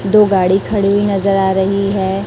दो गाड़ी खड़ी नजर आ रही है।